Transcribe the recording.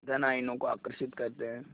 धन आयनों को आकर्षित करते हैं